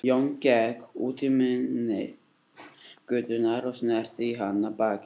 Jón gekk út í mynni götunnar og sneri í hana baki.